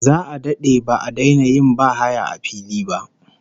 Za'a dade ba'a daina yin bahaya a fili ba